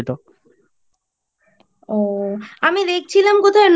ও আমি দেখছিলাম কোথায়